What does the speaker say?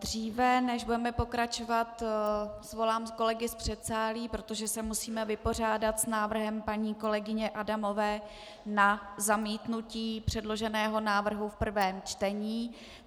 Dříve než budeme pokračovat, svolám kolegy z předsálí, protože se musíme vypořádat s návrhem paní kolegyně Adamové na zamítnutí předloženého návrhu v prvém čtení.